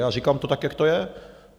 A říkám to tak, jak to je.